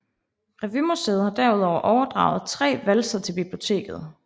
Revymuseet har derudover overdraget tre valser til biblioteket